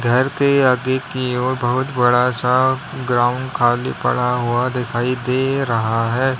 घर के आगे की ओर बहुत बड़ा सा ग्राउंड खाली पड़ा हुआ दिखाई दे रहा है।